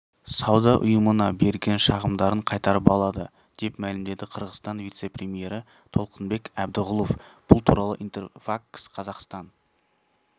сауда ұйымына берген шағымдарын қайтарып алады деп мәлімдеді қырғызстан вице-премьері толқынбек әбдіғұлов бұл туралы интерфакс-қазақстан